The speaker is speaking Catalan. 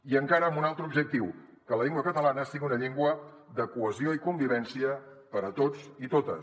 i encara amb un altre objectiu que la llengua catalana sigui una llengua de cohesió i convivència per a tots i totes